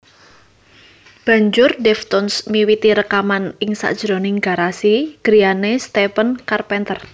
Banjur Deftones miwiti rekaman ing sajroning garasi griyane Stephen Carpenter